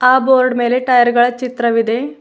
ಆ ಬೋರ್ಡ್ ಮೇಲೆ ಟೈರ್ಗಳ ಚಿತ್ರವಿದೆ.